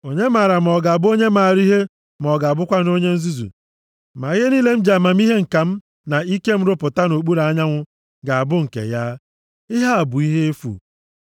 Onye maara ma ọ ga-abụ onye maara ihe ma ọ ga-abụkwanụ onye nzuzu? Ma ihe niile m ji amamihe ǹka m na ike m rụpụta nʼokpuru anyanwụ ga-abụ nke ya! Ihe a bụ ihe efu.